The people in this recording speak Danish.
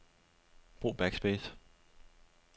Brug backspace.